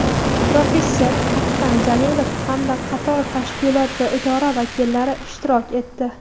professor Aktam Jalilov hamda qator tashkilot va idora vakillari ishtirok etdi.